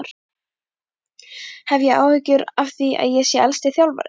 Hef ég áhyggjur af því að ég sé elsti þjálfarinn?